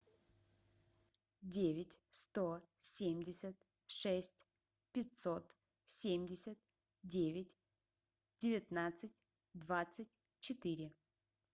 девять сто семьдесят шесть пятьсот семьдесят девять девятнадцать двадцать четыре